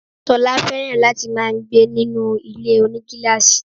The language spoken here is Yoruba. Sola fẹ̀ràn láti máà ń gbé ninú ilé-onígílàsì